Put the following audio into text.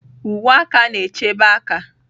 Uwe aka na-echebe aka.